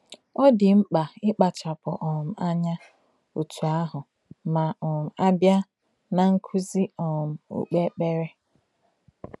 Ọ dị mkpa ịkpachapụ um anya otú ahụ ma um a bịa ná nkụzi um okpukpere.